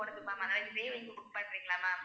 Ma'am அதாவது இதே நீங்க book பன்றிங்கலா ma'am